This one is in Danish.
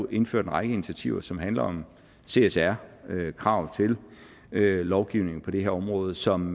indført en række initiativer som handler om csr krav til lovgivningen på det her område og som